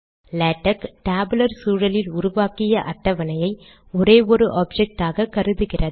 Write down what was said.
LaTeX tabular சூழலில் உருவாக்கிய அட்டவணையை ஒரே ஒரு ஆப்ஜக்டாக கருதுகிறது